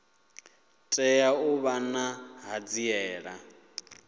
tea u vha na ṱhanziela